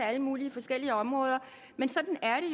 alle mulige forskellige områder men sådan er